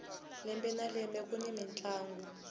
lembe na lembe kuni mintlangu